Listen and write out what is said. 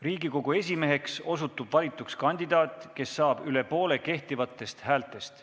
Riigikogu esimeheks osutub valituks kandidaat, kes saab üle poole kehtivatest häältest.